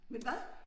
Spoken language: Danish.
Men hvad?